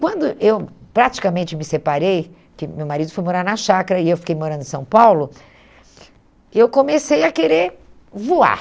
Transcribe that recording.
Quando eu praticamente me separei, porque meu marido foi morar na Chácara e eu fiquei morando em São Paulo, eu comecei a querer voar.